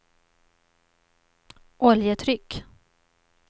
oljetryck